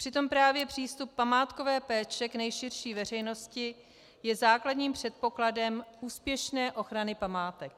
Přitom právě přístup památkové péče k nejširší veřejnosti je základním předpokladem úspěšné ochrany památek.